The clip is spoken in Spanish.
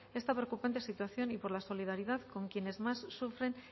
esta preocupante situación y por la solidaridad con quienes más surgen